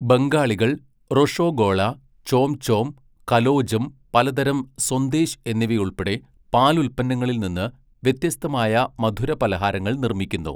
ബംഗാളികൾ റൊഷോഗോള, ചോംചോം, കലോജം, പലതരം സൊന്ദേശ് എന്നിവയുൾപ്പെടെ പാലുൽപ്പന്നങ്ങളിൽ നിന്ന് വ്യത്യസ്തമായ മധുരപലഹാരങ്ങൾ നിർമ്മിക്കുന്നു.